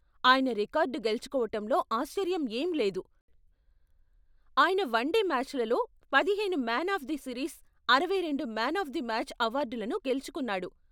ఆయన రికార్డ్ గెలుచుకోవటంలో ఆశ్చర్యం ఏం లేదు, ఆయన వన్డే మ్యాచ్లలలో పదిహేను మ్యాన్ ఆఫ్ ది సిరీస్, అరవై రెండు మ్యాన్ ఆఫ్ ది మ్యాచ్ అవార్డులను గెలుచుకొన్నాడు.